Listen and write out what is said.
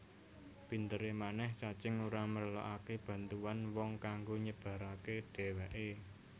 Pinteré manèh cacing ora merlokaké bantuan wong kanggo nyebaraké dhèwèké